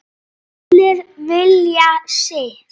Allir vilja sitt